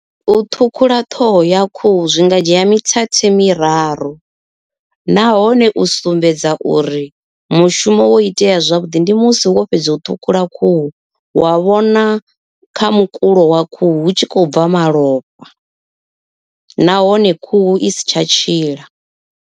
U ṱhukhula ṱhoho ya khuhu zwi nga dzhia mithethe miraru, nahone u sumbedza uri mushumo wo itea zwavhuḓi ndi musi wo fhedza u ṱhukhula khuhu wa vhona kha mukulo wa khuhu hu tshi khou bva malofha nahone khuhu i si tsha tshila.